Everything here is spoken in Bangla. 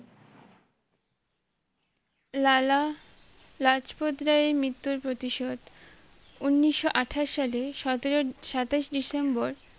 লালা লাজপত রায়ের মৃত্যুর প্রতিশোধ উনিশো আঠাশ সালে সতেরো~সাতাশ ডিসেম্বর